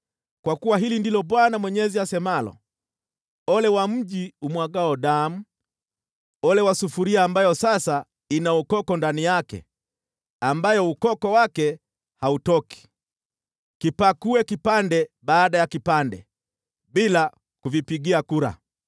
“ ‘Kwa kuwa hili ndilo Bwana Mwenyezi asemalo: “ ‘Ole wa mji umwagao damu, ole wa sufuria ambayo sasa ina ukoko ndani yake, ambayo ukoko wake hautoki. Kipakue kipande baada ya kipande, bila kuvipigia kura.